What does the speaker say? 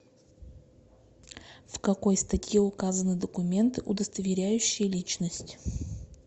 в какой статье указаны документы удостоверяющие личность